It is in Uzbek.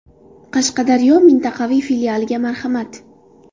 Qashqadaryo mintaqaviy filialiga marhamat!